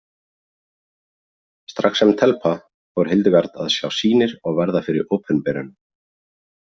Strax sem telpa fór Hildegard að sjá sýnir og verða fyrir opinberunum.